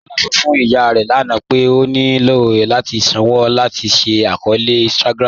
Kọla sọ fún ìyà rẹ lána pé ó ní ilò láti sànwo láti ṣí àkọọ̀lẹ̀ Instagram̀